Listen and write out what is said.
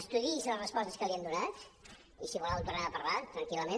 estudiï’s les respostes que li hem donat i si volen en tornem a parlar tranquil·lament